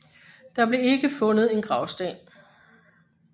Der blev ikke fundet en gravsten